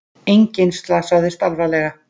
Enginn slasaðist alvarlega